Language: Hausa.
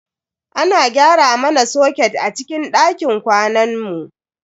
Ana gyara mana soket a cikin dakin kwanan mu.